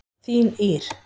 Þín Ýr.